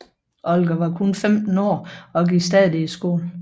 Olga var kun 15 år og gik stadig i skole